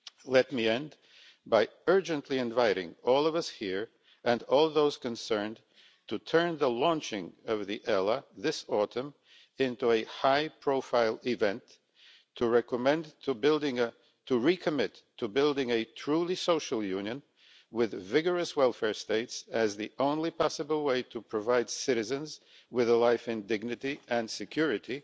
Let me end by urgently inviting all of us here and all those concerned to turn the launching of the European Labour Authority this autumn into a high profile event, and to recommit to building a truly social union with vigorous welfare states as the only possible way to provide citizens with a life in dignity and security